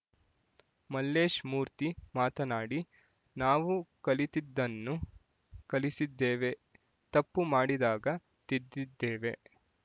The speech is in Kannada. ಮಲ್ಲೇಶ್‌ಮೂರ್ತಿ ಮಾತನಾಡಿ ನಾವು ಕಲಿತದ್ದನ್ನು ಕಲಿಸಿದ್ದೇವೆ ತಪ್ಪು ಮಾಡಿದಾಗ ತಿದ್ದಿದ್ದೇವೆ